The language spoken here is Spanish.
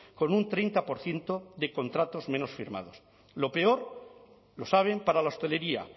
con un treinta por ciento de contratos menos firmados lo peor lo saben para la hostelería